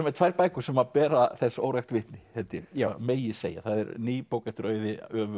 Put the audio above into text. með tvær bækur sem bera þess órækt vitni held ég megi segja það er ný bók eftir Auði